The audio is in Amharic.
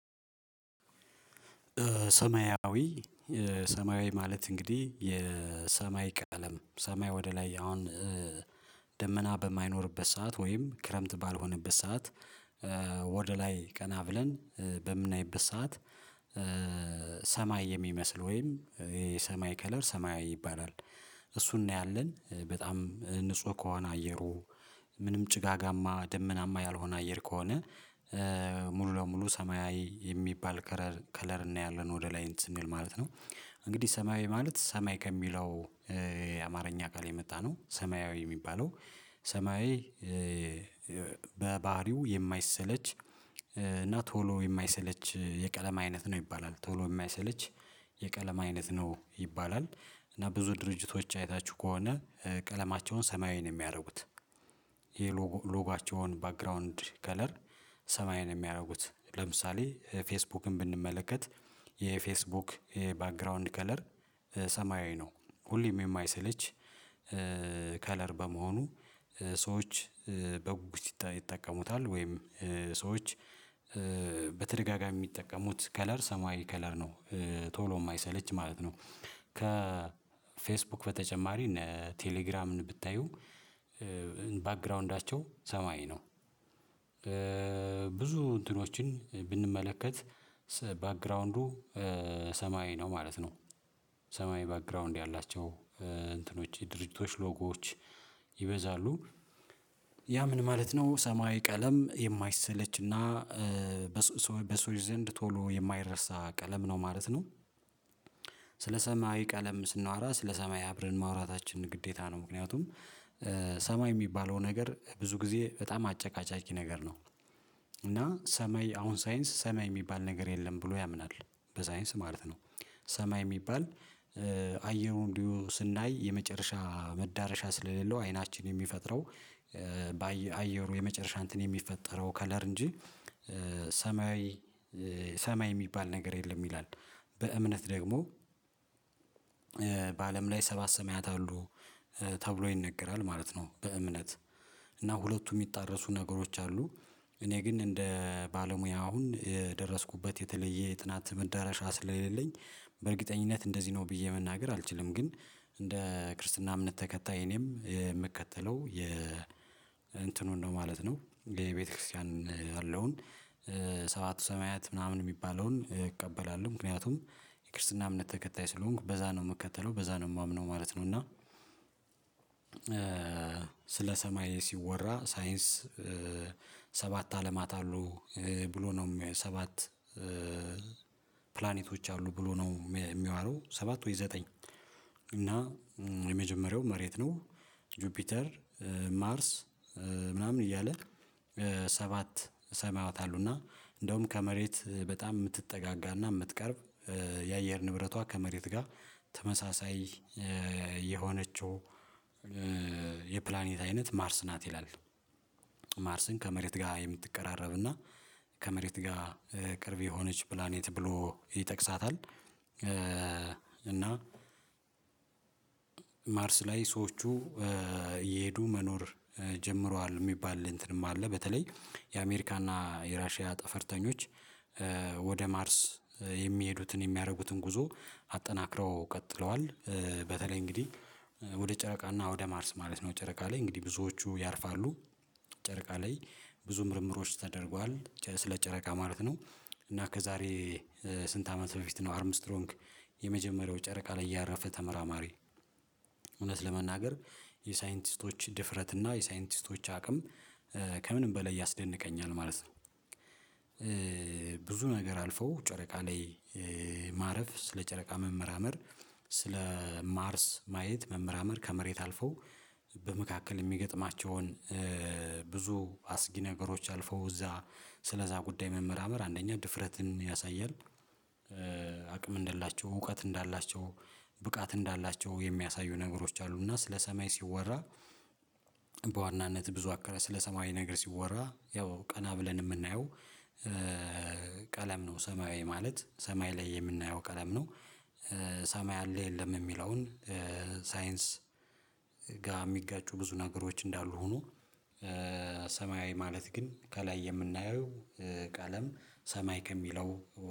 ሰማያዊ ሰማያዊ ማለት እንግዲህ የሰማይ ቀለም ሰማይ ወደ ላይ አሁን ደመና በማይኖርበት ሰዓት ወይም ክረምት ባልሆነበት ሰዓት ወደ ላይ ቀና ብለን በምናይበት ሰዓት ሰማይ የሚመስል ወይም የሰማይ ከለር ሰማያዊ ይባላል እሱን ነው ያለን በጣም ንጹህ ከሆነ አየሩ ምንም ጭጋጋማ ደመናማ ያልሆነ አየር ከሆነ ሙሉ ለሙሉ ሰማያዊ የሚባል ከለር ከለር እናያለን ወደ ላይ ስንል ማለት ነው እንግዲህ ሰማያዊ ማለት ሰማይ ከሚለው የአማርኛ ቃል የመጣ ነው ሰማያዊ የሚባለው ሰማያዊ በባህሪው የማይሰለች እና ቶሎ የማይሰለች የቀለም አይነት ነው ይባላል ቶሎ የማይሰለች የቀለም አይነት ነው ይባላል እና ብዙ ድርጅቶች አይታችሁ ከሆነ ቀለማቸውን ሰማያዊ ነው የሚያደርጉት የሎጓቸዉን ባክግራውንድ ከለር ሰማያዊ ነው የሚያደርጉት ለምሳሌ ፌስቡክን ብንመለከት የፌስቡክ የባክግራውንድ ከለር ሰማያዊ ነው ሁሌም የማይሰለች ከለር በመሆኑ ሰዎች በጉጉት ይጠቀሙታል ወይም ሰዎች በተደጋጋሚ የሚጠቀሙት ከለር ሰማያዊ ከለር ነው ቶሎ የማይሰለች ማለት ነው ከፌስቡክ በተጨማሪ እነ ቴሌግራምን ብታዩ ባክግራውንዳቸው ሰማያዊ ነው ብዙ እንትኖችን ብንመለከት ባክግራውንዱ ሰማይ ነው ማለት ነው ሰማያዊ ባክግራውንድ ያላቸው እንትኖች የድርጅቶች ሎጎዎች ይበዛሉ ያ ምን ማለት ነው ሰማያዊ ቀለም የማይሰለችና በሰዎች ዘንድ ቶሎ የማይረሳ ቀለም ነው ማለት ነው ስለ ሰማያዊ ቀለም ስናወራ ስለ ሰማይ አብረን ማውራታችን ግዴታ ነው ምክንያቱም ሰማይ የሚባለው ነገር ብዙ ጊዜ በጣም አጨቃጫቂ ነገር ነው እና ሰማይ አሁን ሳይንስ ሰማይ የሚባል ነገር የለም ብሎ ያምናል በሳይንስ ማለት ነው ሰማይ የሚባል አየሩ እንዲሁ ስናይ የመጨረሻ መዳረሻ ስለሌለው አይናችን የሚፈጥረው በአየሩ የመጨረሻ እንትን የሚፈጠረው ከለር እንጂ ሰማያዊ ሰማይ የሚባል ነገር የለም ይላል በእምነት ደግሞ በአለም ላይ ሰባት ሰማያት አሉ ተብሎ ይነገራል ማለት ነው በእምነት እና ሁለቱ የሚጣረሱ ነገሮች አሉ እኔ ግን እንደ ባለሙያ አሁን የደረስኩበት የተለየ የጥናት መዳረሻ ስለሌለኝ በእርግጠኝነት እንደዚህ ነው ብዬ መናገር አልችልም ግን እንደ ክርስትና እምነት ተከታይ እኔም የምከተለው የ እንትኑን ነው ማለት ነው የቤተክርስቲያን ያለውን ሰባቱ ሰማያት ምናምን የሚባለውን እቀበላለሁ ምክንያቱም የክርስትና እምነት ተከታይ ስለሆንኩ በዛ ነው የምከተለው በዛ ነው የማምነው ማለት ነው እና ስለ ሰማይ ሲወራ ሳይንስ ሰባት አለማት አሉ ብሎ ነው ሰባት ፕላኔቶች አሉ ብሎ ነው። የሚያወራው ሰባት ወይ ዘጠኝ መጀመሪያው መሬት ነው ጁፒተር ማርስ ምናምን እያለ ሰባት ሰማያት እና እንደውም ከመሬት በጣም የምትጠጋጋና የምትቀርብ የአየር ንብረቷ ከመሬት ጋር ተመሳሳይ የሆነችው የፕላኔት አይነት ማርስ ናት ይላል ማርስን ከመሬት ጋር የምትቀራረብና ከመሬት ጋር ቅርብ የሆነች ፕላኔት ብሎ ይጠቅሳታል እና ማርስ ላይ ሰዎቹ እየሄዱ መኖር ጀምሯል የሚባል እንትንም አለ በተለይ የአሜሪካና የራሺያ ጠፈርተኞች ወደ ማርስ የሚሄዱትን የሚያደርጉትን ጉዞ አጠናክረው ቀጥለዋል በተለይ እንግዲህ ወደ ጨረቃ እና ወደ ማርስ ማለት ነው ጨረቃ ላይ እንግዲህ ብዙዎቹ ያርፋሉ ጨረቃ ላይ ብዙ ምርምሮች ተደርጓል ስለ ጨረቃ ማለት ነው እና ከዛሬ ስንት አመት በፊት ነው አርም ስትሮንግ የመጀመሪያው ጨረቃ ላይ ያረፈ ተመራማሪ እውነት ለመናገር የሳይንቲስቶች ድፍረት እና የሳይንቲስቶች አቅም ከምንም በላይ ያስደንቀኛል ማለት ነው ብዙ ነገር አልፈው ጨረቃ ላይ ማረፍ ስለ ጨረቃ መመርመር ስለ ማርስ ማየት መመራመር ከመሬት አልፈው በመካከል የሚገጥማቸውን ብዙ አስጊ ነገሮች አልፈው እዛ ስለዛ ጉዳይ መመርመር አንደኛ ድፍረትን ያሳያል አቅም እንደላቸው እውቀት እንዳላቸው ብቃት እንዳላቸው የሚያሳዩ ነገሮች አሉና ስለ ሰማይ ሲወራ በዋናነት ብዙ አከባቢ ስለ ሰማይ ነገር ሲወራ ያው ቀና ብለን የምናየው ቀለም ነው ሰማያዊ ማለት ሰማይ ላይ የምናየው ቀለም ነው ሰማይ አለ የለም የሚለውን ሳይንስ ጋ የሚጋጩ ብዙ ነገሮች እንዳሉ ሁኖ ሰማያዊ ማለት ግን ከላይ የምናየው ቀለም ሰማይ ከሚለው